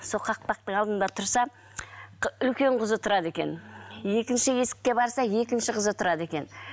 сол қақпақтың алдында тұрса үлкен қызы тұрады екен екінші есікке барса екінші қызы тұрады екен